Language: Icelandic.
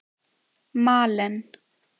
Malen